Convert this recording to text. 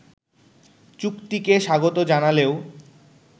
চুক্তিকে স্বাগত জানালেও